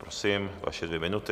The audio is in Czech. Prosím, vaše dvě minuty.